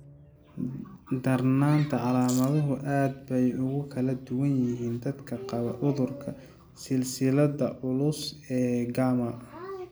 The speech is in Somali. Darnaanta calaamaduhu aad bay ugu kala duwan yihiin dadka qaba cudurka silsiladda culus ee gamma.